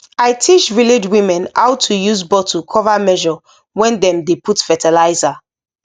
i teach village women how to use bottle cover measure when dem dey put fertilizer